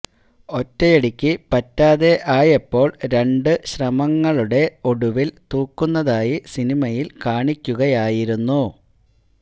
ഒറ്റയടിക്കു പറ്റാതെ ആയപ്പോൾ രണ്ടു ശ്രമങ്ങളുടെ ഒടുവിൽ തൂക്കുന്നതായി സിനിമയിൽ കാണിക്കുകയായിരുന്നു